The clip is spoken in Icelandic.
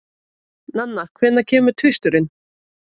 Nanna, hvenær kemur tvisturinn?